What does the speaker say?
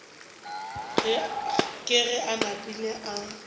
ke ge a napile a